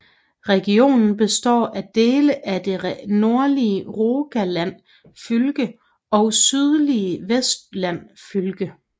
Regionen består af dele af det nordlige Rogaland fylke og sydlige Vestland fylke